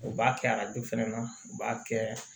U b'a kɛ u b'a kɛ